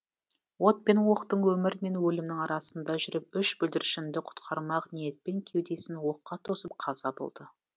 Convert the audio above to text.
от пен оқтың өмір мен өлімнің арасында жүріп үш бүлдіршінді құтқармақ ниетпен кеудесін оққа тосып қаза болды